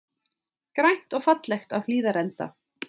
Grænt og fallegt á Hlíðarenda